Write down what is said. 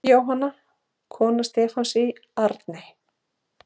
Jóhanna, kona Stefáns í Arney.